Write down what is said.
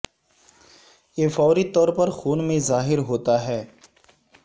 یہ فوری طور پر خون میں ظاہر ہوتا ہے